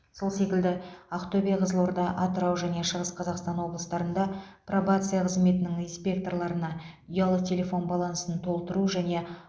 сол секілді ақтөбе қызылорда атырау және шығыс қазақстан облыстарында пробация қызметінің инспекторларына ұялы телефон балансын толтыру және